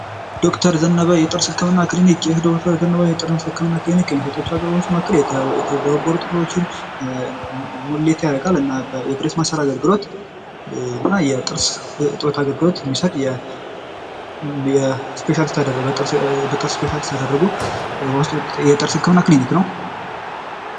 ዶክተር ዘነበ የጥርስ ህክምና ክሊኒክ ይህ ዶክተር ዘነበ የጥርስ ህክምና ክሊኒክ የሚሰጣቸዉ አገልግሎቶች መካከል የተቦረቦሩ ጥርሶችን ሙሌት ሙሌት ያደርጋል፤ እና የብሬስ ማሰር አገልግሎት እና የጥርስ እጥበት አገልግሎቶ የሚሰጥ በጥርስ ስፔሻሊት ባደረጉ የጥርስ ህክምና ክሊኒክ ነዉ።